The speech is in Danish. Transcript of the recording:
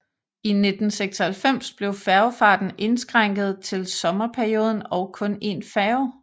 I 1996 blev færgefarten indskrænket til sommerperioden og kun én færge